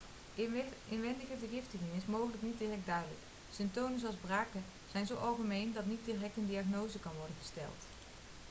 inwendige vergiftiging is mogelijk niet direct duidelijk symptomen zoals braken zijn zo algemeen dat niet direct een diagnose kan worden gesteld